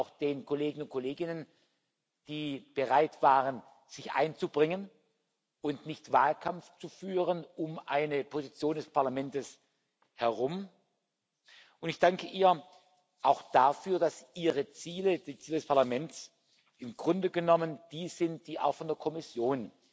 Ich danke auch den Kollegen und Kolleginnen, die bereit waren, sich einzubringen und nicht um eine Position des Parlaments herum Wahlkampf zu führen, und ich danke ihr auch dafür, dass ihre Ziele, die des Parlaments, im Grunde genommen die sind, die auch von der Kommission